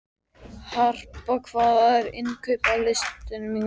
Harpa, hvað er á innkaupalistanum mínum?